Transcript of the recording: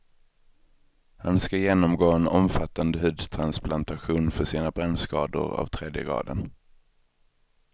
Han ska genomgå en omfattande hudtransplantation för sina brännskador av tredje graden.